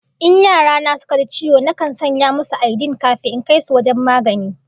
In yara na suka ji ciwo, nakan sanya musu aidin kafin in kai su wajen magani